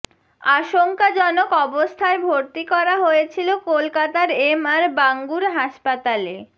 আশঙ্কাজনক অবস্থায় ভর্তি করা হয়েছিল কলকাতার এমআর বাঙ্গুর হাসপাতালে